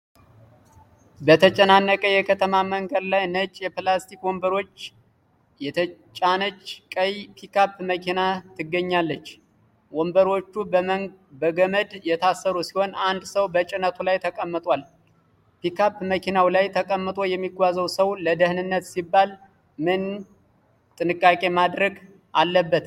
በተጨናነቀ የከተማ መንገድ ላይ ነጭ የፕላስቲክ ወንበሮች የተጫነች ቀይ ፒክአፕ መኪና ትገኛለች። ወንበሮቹ በገመድ የታሰሩ ሲሆን አንድ ሰው በጭነቱ ላይ ተቀምጧል። ፒክአፕ መኪናው ላይ ተቀምጦ የሚጓዘው ሰው ለደህንነት ሲባል ምን ጥንቃቄ ማድረግ አለበት?